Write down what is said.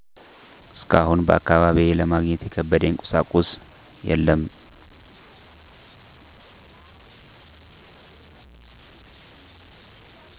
እስካሁን በአካባቢዬ ለማግኘት የከበደኝ ቁሳቁስ የለም።